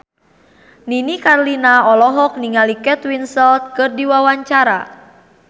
Nini Carlina olohok ningali Kate Winslet keur diwawancara